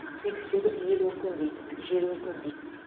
сөйтіп сөйтіп ел өркендейді жер өркендейді